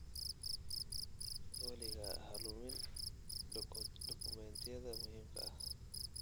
Weligaa ha lumin dukumeentiyada muhiimka ah.